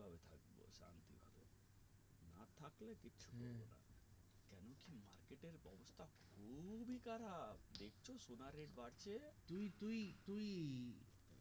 তুই তুই তুই